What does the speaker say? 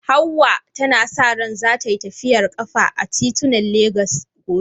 Hawwa tana sa ran za tai tafiyar kafa a titunan Legas gobe.